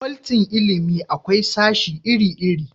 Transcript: a fakwalti na ilimi akwai sashi iri iri